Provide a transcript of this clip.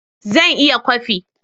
Zan iya kwafi